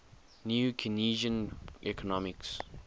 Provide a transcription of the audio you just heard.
new keynesian economics